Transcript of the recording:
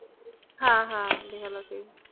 হ্য়াঁ হ্য়াঁ বেহালা তেই।